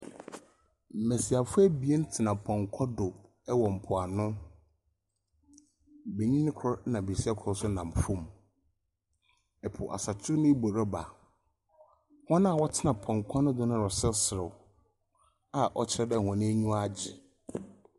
Mmesiafo abien tena pɔnkɔ do ɛwɔ mpoano. Benyini koro ɛna besia koro so nam fam. Ɛpo asɔkye ne bɔ reba. Wɔn a wɔtena pɔnkɔ no do no reserew a ɔkyerɛ dɛ wɔn aniwa agye.